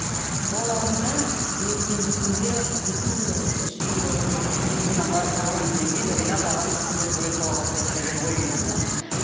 ол аурудан ертеңгі күнде екі мың доллар үш мың долларға ринат ағамыз қандай сурет сала бастайды деген ой келді маған